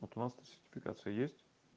вот у нас то сертификация есть